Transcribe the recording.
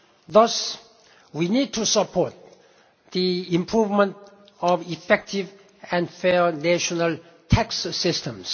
Thus we need to support the improvement of effective and fair national tax systems.